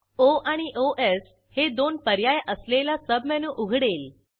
ओ आणि ओएस हे 2 पर्याय असलेला सबमेनू उघडेल